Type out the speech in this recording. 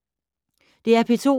DR P2